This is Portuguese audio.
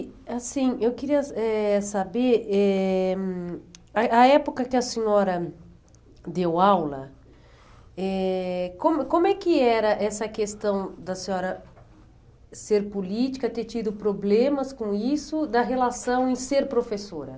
assim, eu queria eh saber eh hum, a a época que a senhora deu aula eh como como é que era essa questão da senhora ser política, ter tido problemas com isso, da relação em ser professora?